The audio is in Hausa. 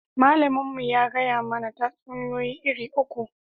Malamin mu ya gaya mana tatsuniya iri uku